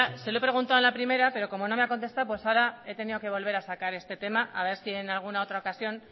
se lo he preguntando en la primera pero cómo no me ha contestado pues ahora he tenido que volver a sacar este tema a ver si en alguna otra ocasión